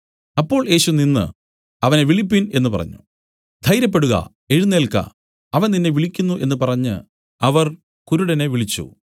അപ്പോൾ യേശു നിന്നു അവനെ വിളിപ്പിൻ എന്നു പറഞ്ഞു ധൈര്യപ്പെടുക എഴുന്നേല്ക്ക അവൻ നിന്നെ വിളിക്കുന്നു എന്നു പറഞ്ഞ് അവർ കുരുടനെ വിളിച്ചു